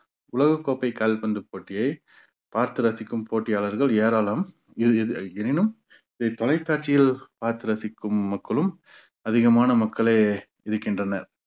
உலகக்கோப்பை கால்பந்து போட்டியை பார்த்து ரசிக்கும் போட்டியாளர்கள் ஏராளம் எனினும் இது தொலைக்காட்சியில் பார்த்து ரசிக்கும் மக்களும் அதிகமான மக்களே இருக்கின்றனர்